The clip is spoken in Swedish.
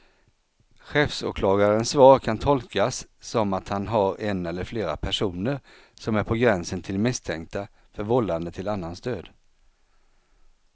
Chefsåklagarens svar kan tolkas som att han har en eller flera personer som är på gränsen till misstänkta för vållande till annans död.